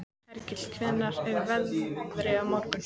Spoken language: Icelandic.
Hergill, hvernig er veðrið á morgun?